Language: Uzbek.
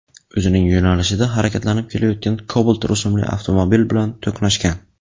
o‘zining yo‘nalishida harakatlanib kelayotgan Cobalt rusumli avtomobil bilan to‘qnashgan.